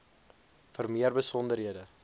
vir meer besonderhede